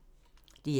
DR2